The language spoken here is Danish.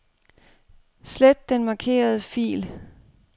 Slet den markerede fil.